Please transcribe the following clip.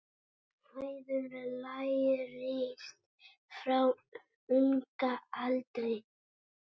Hegðun lærist frá unga aldri.